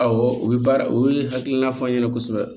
Awɔ u bɛ baara o hakilina fɔ n ɲɛna kosɛbɛ